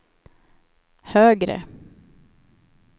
högre